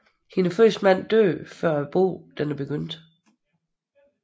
Hendes første mand dør før bogen begynder